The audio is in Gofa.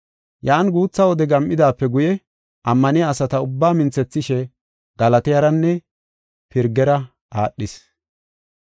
Yan guutha wode gam7idaape guye ammaniya asata ubbaa minthethishe Galatiyaranne Pirgera aadhis.